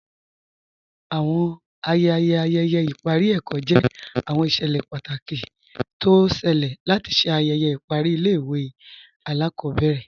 Awọn ayẹyẹ ayẹyẹ ipari ẹkọ jẹ awọn iṣẹlẹ pátákì tó ọ ṣẹ̀lẹ̀ látì ṣè ayẹyẹ ipari ilẹ̀-ìwé alakọbẹrẹ.